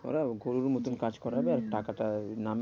ওরাও গরুর মতন কাজ করাবে হম আর টাকাটা এই নামে